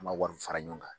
An ma wari fara ɲɔgɔn kan